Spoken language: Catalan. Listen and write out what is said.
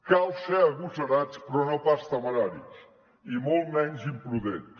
cal ser agosarats però no pas temeraris i molt menys imprudents